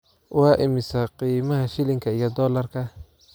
waa imisa qiimaha shilinka iyo dollarka